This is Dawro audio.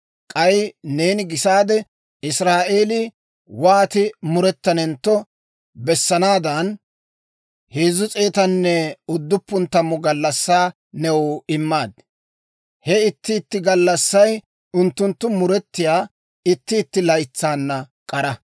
K'ay neeni gisaade Israa'eelii wooti murettanentto bessanaadan 390 gallassaa new immaad. He itti itti gallassay unttunttu muretiyaa itti itti laytsaana k'ara.